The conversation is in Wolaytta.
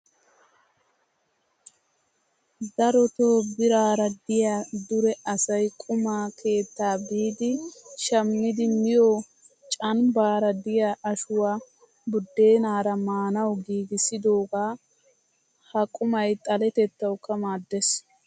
Dorotoo biraara diyaa dure asayi quma keettaa biidi shammidi miyoo canbbaara diya ashuwaa buddeenaara maanawu giigissidoogaa. Ha qumayi xaletettawukka maaddes.